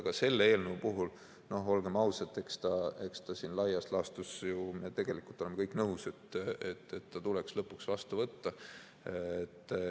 Aga selle eelnõu puhul, olgem ausad, laias laastus me ju tegelikult oleme kõik nõus, et see tuleks lõpuks vastu võtta.